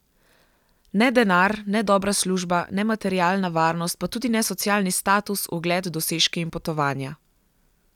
Ne denar, ne dobra služba, ne materialna varnost, pa tudi ne socialni status, ugled, dosežki in potovanja.